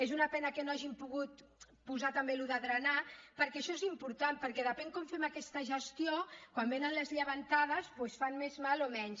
és una pena que no hàgim pogut posar també allò de drenar perquè això és important perquè depèn com fem aquesta gestió quan venen les llevantades doncs fan més mal o menys